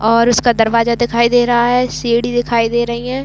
और उसका दरवाजा दिखाई दे रहा है सीढ़ी दिखाई दे रही है।